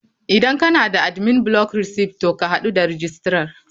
Idan kana da admin block receipt to ka hadu da registrar.